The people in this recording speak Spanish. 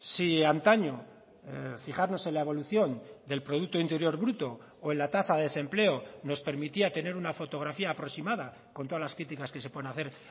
si antaño fijarnos en la evolución del producto interior bruto o en la tasa de desempleo nos permitía tener una fotografía aproximada con todas las críticas que se pueden hacer